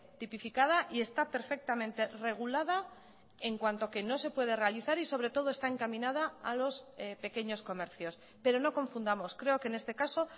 tipificada y está perfectamente regulada en cuanto que no se puede realizar y sobre todo está encaminada a los pequeños comercios pero no confundamos creo que en este caso